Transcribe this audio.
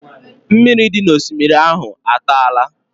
Mmiri dị n'osimiri ahụ a tara?